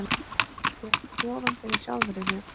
Tek ofan fyrir sjálfri mér.